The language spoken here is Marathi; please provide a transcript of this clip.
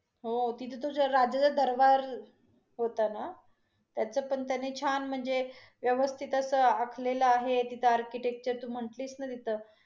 हो तिथं तो ज्या राज्याचं दरबार होता ना, त्याच पण त्याने छान म्हणजे, व्यवस्थित अस आखलेल आहे. तिथं architecture तू म्हटलीस न तिथं